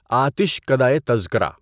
آتش کدهٔ تذکرہ